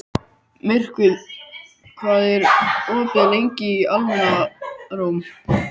Myrkvi, hvað er opið lengi í Almannaróm?